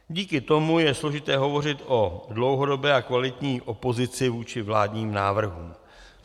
Díky tomu je složité hovořit o dlouhodobé a kvalitní opozici vůči vládním návrhům.